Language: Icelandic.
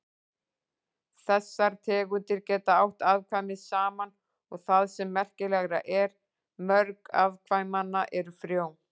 Þessar tegundir geta átt afkvæmi saman og það sem merkilegra er, mörg afkvæmanna eru frjó.